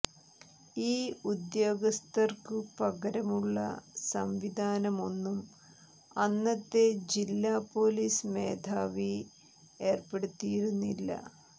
ഈ ഉദ്യോഗസ്ഥര്ക്കു പകരമുള്ള സംവിധാനമൊന്നും അന്നത്തെ ജില്ലാ പോലീസ് മേധാവി ഏര്പ്പെടുത്തിയിരുന്നില്ല